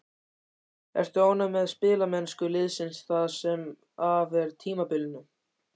Ertu ánægð með spilamennsku liðsins það sem af er tímabilinu?